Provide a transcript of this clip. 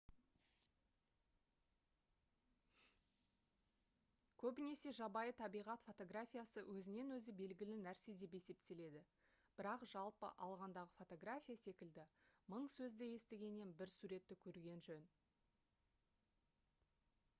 көбінесе жабайы табиғат фотографиясы өзінен-өзі белгілі нәрсе деп есептеледі бірақ жалпы алғандағы фотография секілді мың сөзді естігеннен бір суретті көрген жөн